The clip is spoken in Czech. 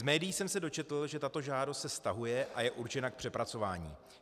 Z médií jsem se dočetl, že tato žádost se stahuje a je určena k přepracování.